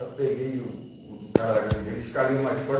Aí eu peguei o o o cara da gangue dele, escalei o mais forte.